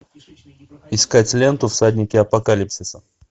искать ленту всадники апокалипсиса